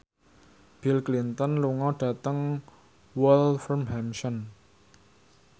Bill Clinton lunga dhateng Wolverhampton